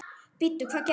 Bíddu, hvað gerði ég?